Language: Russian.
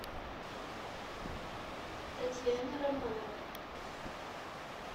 татьяне романовне